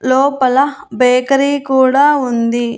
లోపల బేకరీ కూడా ఉంది.